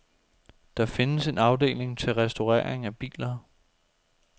Der findes en afdeling til restaurering af biler.